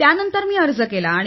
त्यानंतर मी अर्ज केला